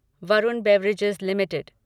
Varun beverages limited